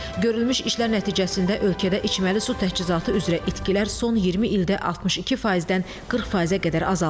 Görülmüş işlər nəticəsində ölkədə içməli su təchizatı üzrə itkilər son 20 ildə 62%-dən 40%-ə qədər azaldılıb.